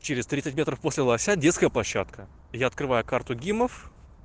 через тридцать метров после лося детская площадка я открываю карту гимов